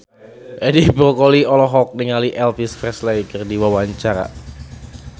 Edi Brokoli olohok ningali Elvis Presley keur diwawancara